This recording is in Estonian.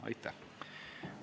Aitäh!